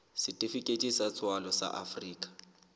setifikeiti sa tswalo sa afrika